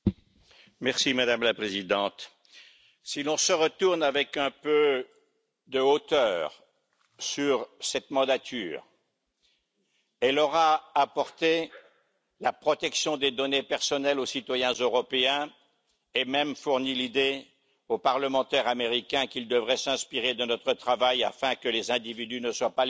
Madame la Présidente, si l'on se retourne avec un peu de hauteur sur cette mandature, elle aura apporté la protection des données personnelles aux citoyens européens et même fourni l'idée aux parlementaires américains qu'ils devraient s'inspirer de notre travail afin que les individus ne soient pas les objets